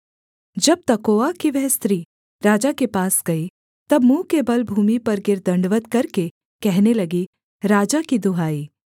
जब तकोआ की वह स्त्री राजा के पास गई तब मुँह के बल भूमि पर गिर दण्डवत् करके कहने लगी राजा की दुहाई